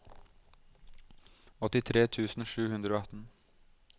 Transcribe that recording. åttitre tusen sju hundre og atten